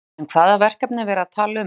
En hvaða verkefni er verið að tala um?